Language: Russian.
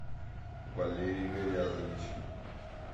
валерий гаязович